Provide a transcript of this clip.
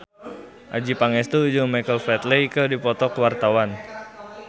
Adjie Pangestu jeung Michael Flatley keur dipoto ku wartawan